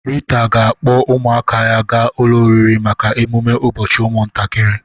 Rita ga-akpọ ụmụaka ya ga ụlọ oriri maka emume ụbọchị ụmụntakịrị.